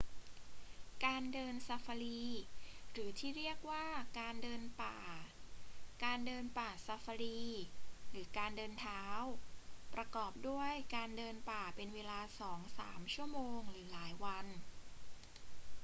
การเดินซาฟารี หรือที่เรียกว่า การเดินป่า การเดินป่าซาฟารี หรือ การเดินเท้า ประกอบด้วยการเดินป่าเป็นเวลาสองสามชั่วโมงหรือหลายวัน